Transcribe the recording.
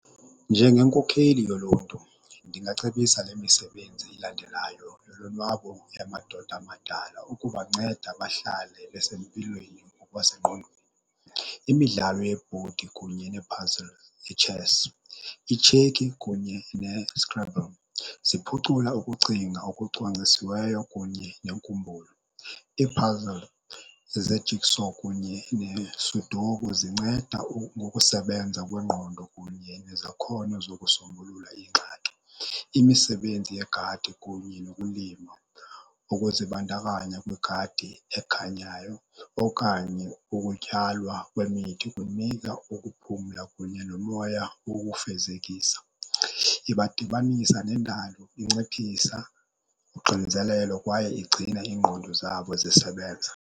Njengenkokheli yoluntu ndingacebisa le misebenzi ilandelayo yolonwabo yamadoda amadala ukubanceda bahlale besempilweni ngokwasengqondweni. Imidlalo yebhodi kunye nee-puzzles, itshesi, itsheki kunye neScrabble ziphucula ukucinga okucwangcisiweyo kunye nenkumbulo. Ii-puzzle ze-jigsaw kunye neSudoku zinceda ngokusebenza kwengqondo kunye nezakhono zokusombulula iingxaki. Imisebenzi yegadi kunye nokulima. Ukuzibandakanya kwigadi ekhanyayo okanye ukutyalwa kwemithi kunika ukuphumla kunye nomoya wokufezekisa. Ibadibanisa nendalo, inciphisa unxinzelelo kwaye igcina ingqondo zabo zisebenza.